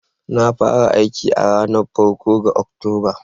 Na fara aiki a ranar farko ga Oktoba